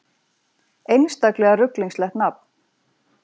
Einstaklega ruglingslegt nafn